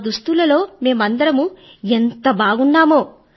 ఆ దుస్తులలో మేమందరమూ ఎంతా బాగున్నామో